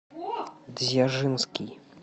дзержинский